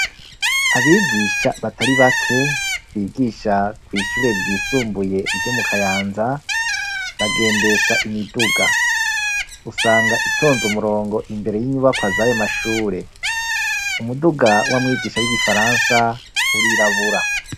Abigisha batari bake bigisha kw'ishure ryisumbuye ryo mu kayanza, bagendesha imiduga. Usanga itonze umurongo imbere y'inyubakwa zayo mashure, umuduga w'amwigisha w'igifaransa urirabura.